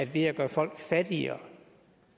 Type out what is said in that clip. ved at gøre folk fattigere